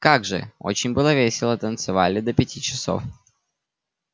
как же очень было весело танцевали до пяти часов